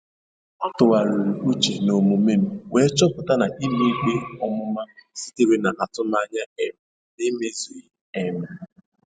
A tụgharịrị uche n'omume m wee chọpụta na ikpe ọmụma sitere n'atụmanya um na-emezughị. um